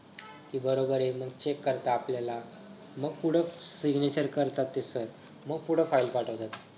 ते बरोबर येऊन check करतात आपल्याला मंग पुढं signature करतात ते sir मग पुढं file पाठवतात.